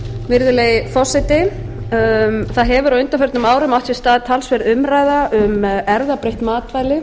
virðulegi forseti á undanförnum árum hefur átt sér stað talsverð umræða um erfðabreytt matvæli